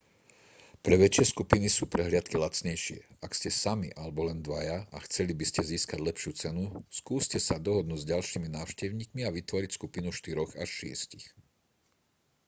pre väčšie skupiny sú prehliadky lacnejšie ak ste sami alebo len dvaja a chceli by ste získať lepšiu cenu skúste sa dohodnúť s ďalšími návštevníkmi a vytvoriť skupinu štyroch až šiestich